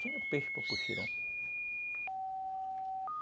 Tinha peixe para